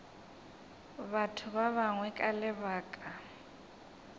batho ba bangwe ka lebaka